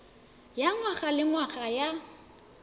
ya ngwaga le ngwaga ya